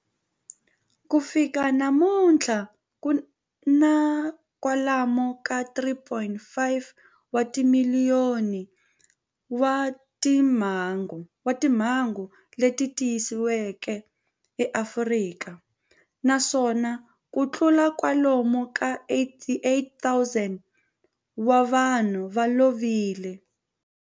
Ku fika namuntlha ku na kutlula kwalomu ka 3.5 wa timiliyoni wa timhangu leti tiyisisiweke eAfrika, naswona kutlula kwalomu ka 88,000 wa vanhu va lovile.